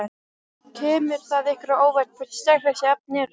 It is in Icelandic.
Kemur það ykkur á óvart hversu sterk þessi efni eru?